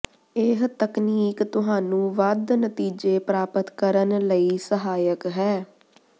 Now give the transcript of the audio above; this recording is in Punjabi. ਇਹ ਤਕਨੀਕ ਤੁਹਾਨੂੰ ਵੱਧ ਨਤੀਜੇ ਪ੍ਰਾਪਤ ਕਰਨ ਲਈ ਸਹਾਇਕ ਹੈ